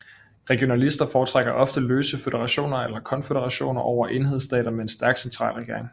Regionalister foretrækker ofte løse føderationer eller konføderationer over enhedsstater med en stærk centralregering